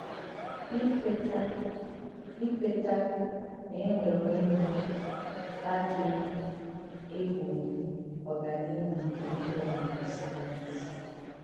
Ìkwètà Ìkwètà nà e nwèrè Ònyé Okìkè àdíghị̀ ègbòghì ọ̀gánìhù nke íhè ọ̀mụ́mụ́ sàyẹ́nsì.